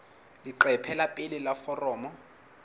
leqephe la pele la foromo